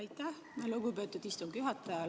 Aitäh, lugupeetud istungi juhataja!